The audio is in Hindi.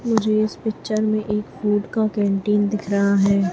मुझे इस पिक्चर में एक दूध का कैंटीन दिख रहा है।